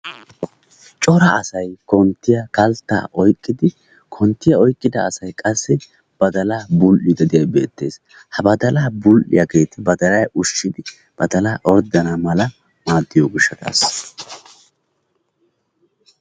Cora asay konttiyaa kalttaa oyqqidi konttiyaa oyqqida asay qassi badalaa bul"idi diyaageti beettees. Ha badalaa bul"iyaageti baladala ushshidi badaalay orddana mala maaddiyo giishshataassa.